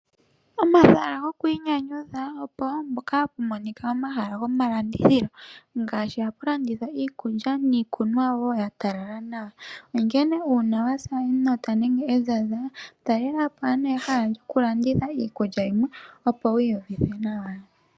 Omahala gokwiinyanyudha opo wo hapu monika omahala andithilo ngaashi hapu landithwa iikulya niikunwa wo ya talala nawa, onkene uuna wa sa enota nenge ezaza talela po ano ehala lyokulanditha iikulya yimwe, opo wi iyuvithe nawa.